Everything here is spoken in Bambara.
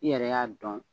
I yɛrɛ y'a dɔn